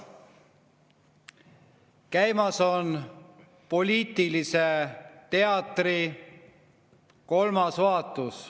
Käimas on poliitilise teatri kolmas vaatus.